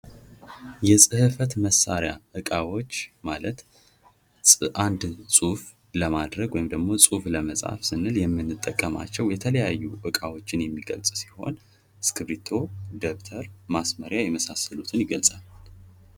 የጽህፈት መሳሪያ እቃዎች ማለት አንድን ጽሁፍ ለማድረግ ወይም ደግሞ ጽሑፍ ለመጻፍ ስንል የምንጠቀማቸው የተለያዩ እቃዎችን የሚገልጽ ሲሆን እስክርቢቶ ፣ ደብተር ፣ማስመርያ የመሳሰሉትን ይገልፃል ።